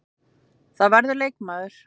Það verður leikmaður.